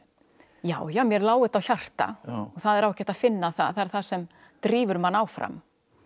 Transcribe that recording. já já mér lá þetta á hjarta og það er ágætt að finna það það er það sem drífur mann áfram